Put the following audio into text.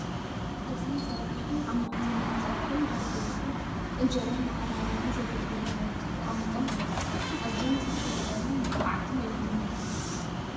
እዚ ዘርጋሕን ዓሞቕትን ናይ ፀብሒን ዳቡ ይኹን እንጀራ መቐራረቢ ዘገልግሉ ናውቲ ተቐሚጦም ኣለዉ ፡ ኣዚዮም ዝተሸላለሙን ምልኩዓትን እዮም ዝነሄዉ ።